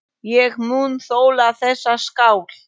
Ég mun þola þessa skál.